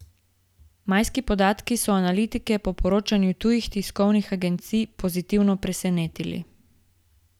Majski podatki so analitike po poročanju tujih tiskovnih agencij pozitivno presenetili.